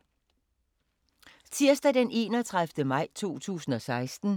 Tirsdag d. 31. maj 2016